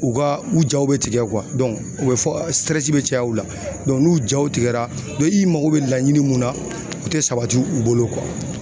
U ka u jaw be tigɛ u bɛ fɔ bɛ caya u la. n'u jaw tigɛra dɔ i mako be laɲini mun na o te sabati u bolo ;